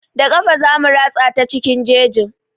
Da ƙafa zamu ratsa ta cikin jejin.